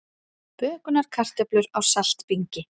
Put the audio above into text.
Bökunarkartöflur á saltbingi